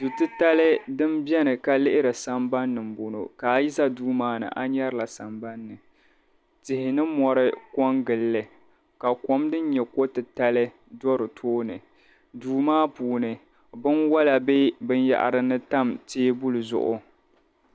Du' titali din beni ka lihiri sambani ni m-bɔŋɔ ka a yi za duu maa ni a nyarila sambani ni. Tihi ni mɔri kɔŋgili li ka kom din nyɛ ko' titali do di tooni. Duu maa puuni binwala be binyɛhari ni tam teebuli zuɣu.